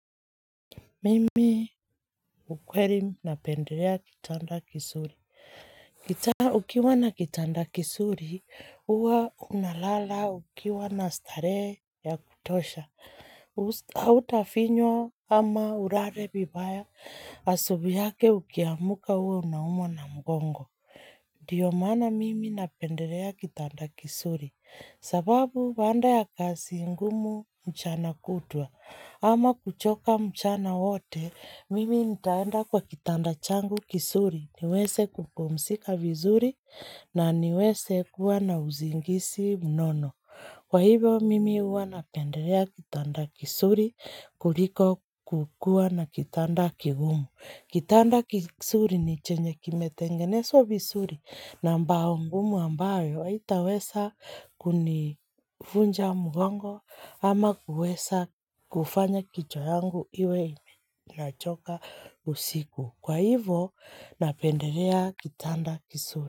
Mimi ukweli napendelea kitanda kizuri. Kitanda, ukiwa na kitanda kizuri, huwa unalala ukiwa na starehe ya kutosha. Hutafinywa ama ulale vibaya, asubuhi yake ukiamka uwe unaumwa na mgongo. Ndiyo maana mimi napendelea kitanda kizuri. Sababu baada ya kazi ngumu mchana kutwa. Ama kuchoka mchana wote, mimi nitaenda kwa kitanda changu kizuri, niweze kupumzika vizuri, na niweze kuwa na usingizi mnono. Kwa hivyo, mimi huwa napendelea kitanda kizuri, kuliko kukuwa na kitanda kigumu. Kitanda kizuri ni chenye kimetengenezwa vizuri na mbao ngumu ambayo haitaweza kunivunja mgongo ama kuweza kufanya kichwa yangu imechoka usiku. Kwa hivyo napendelea kitanda kizuri.